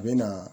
U bɛ na